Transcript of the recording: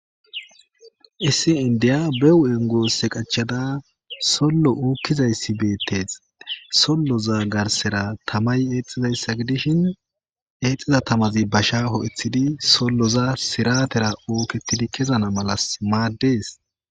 Issi indiya be huphphen gosse qachchada solo ukizayss bettes soloza garsara tamay exizaysa gidishin exiza tamazi basha ho'ethidi soloza siratera uketidi kezana mala maddes